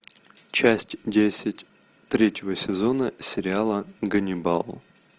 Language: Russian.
часть десять третьего сезона сериала ганнибал